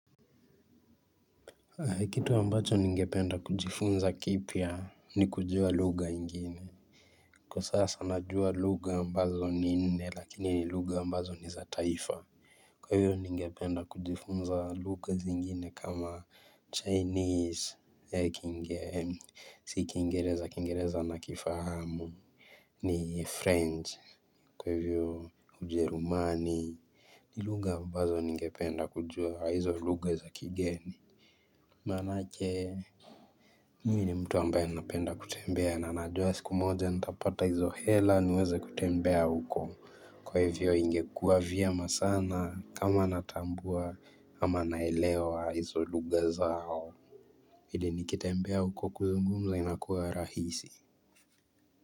Kitu ambacho ningependa kujifunza kipya ni kujua lugha ingine Kwa sasa najua lugha ambazo ninne lakini ni lugha ambazo ni za taifa Kwa hivyo ningependa kujifunza lugha zingine kama chinese Si kiingereza kiingereza na kifahamu ni french kwa hivyo ujerumani ni lugha ambazo ningependa kujua hizo lugha za kigeni Manake mi ni mtu ambaye ninapenda kutembea na anajua siku moja nitapata hizo hela niweze kutembea huko Kwa hivyo ingekua vyema sana kama natambua ama naelewa hizo lugha zao Ili nikitembea huko kuzungumza inakuwa rahisi.